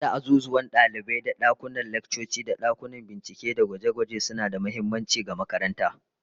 Banda azuzuwan dalibai da dakunan laccoci, dakunan bincike da gwaje-gwaje suna da muhimmanci ga makaranta